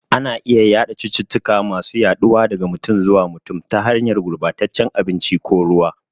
Ana iya yada cututtuka masu yaduwa daga mutum zuwa mutum, ta hanyar gurbataccen abinci ko ruwa.